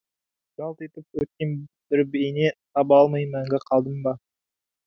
жалт етіп өткен бір бейне таба алмай мәңгі қалдым ба